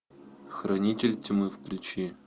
хранитель тьмы включи